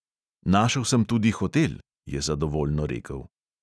Našel sem tudi hotel, je zadovoljno rekel.